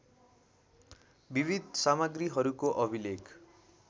विविध सामग्रीहरूको अभिलेख